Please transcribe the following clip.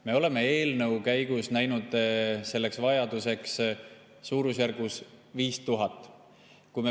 Me nägime eelnõu käigus ette, et vajadus selleks on suurusjärgus 5000‑l.